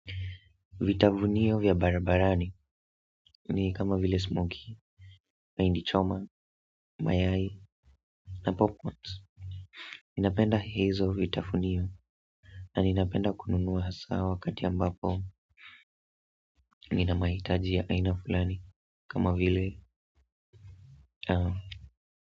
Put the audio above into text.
Vitavunio vya barabarani ni kama vile smoky, mahindi choma, mayai na popcorns. Ninapenda hizo vitafunio na ninapenda kununua hasa wakati ambapo nina maitajia ya aina fulani kama vile.